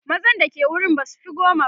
mazan da ke wurin basufi goma ba